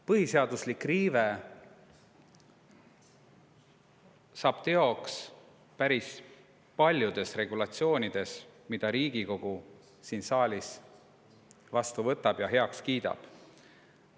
Põhiseaduslik riive on saanud teoks päris paljudes regulatsioonides, mida Riigikogu on siin saalis vastu võtnud ja heaks kiitnud.